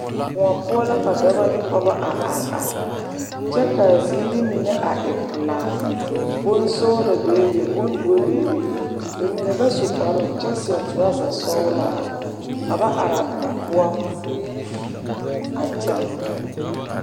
Koɔ poɔ la ka dɔba ne pɔgeba a are are kyɛ k,a ziiri mine a e pelaa bonsɔglɔ bebe bondoɔ bebe ba mine ba su kpare kyɛ seɛ torɔzasɔglaa ka ba are a koɔ poɔ a kyɛnɛ.